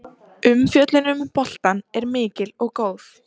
Umfjöllunin um boltann er mikil og góð.